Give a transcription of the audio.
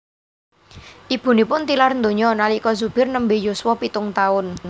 Ibunipun tilar donya nalika Zubir nembe yuswa pitung taun